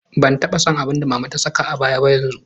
Ban taba son abin da mama ta saka a baya ba yanzu.